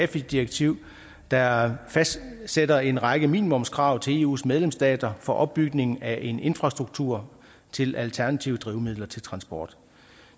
direktiv der fastsætter en række minimumskrav til eus medlemsstater for opbygning af en infrastruktur til alternative drivmidler til transport